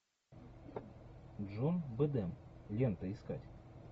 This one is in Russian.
джон бэдэм лента искать